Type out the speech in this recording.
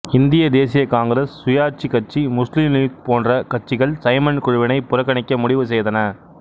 இந்திய தேசிய காங்கிரசு சுயாட்சி கட்சி முஸ்லிம் லீக் போன்ற கட்சிகள் சைமன் குழுவினை புறக்கணிக்க முடிவு செய்தன